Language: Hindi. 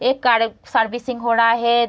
एक कार सर्विसिंग हो रहा है।